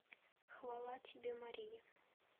хвала тебе мария